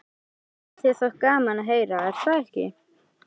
Þetta hefði þér þótt gaman að heyra, er það ekki?